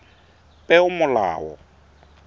peomolao